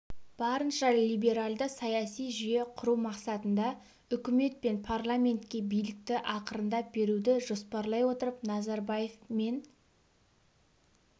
барынша либеральды саяси жүйе құру мақсатында үкімет пен парламентке билікті ақырындап беруді жоспарлай отырып назарбаев мен